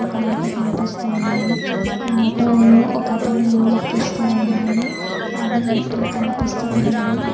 ఒక ఆటో కనిపిస్తూ ఉన్నది ఆ ఆటోలో ఒకతను లోడ్ ఎక్కిస్తూ ఉన్నాడు అవి నెట్టిలు కనిపిస్తూ ఉన్నాయి.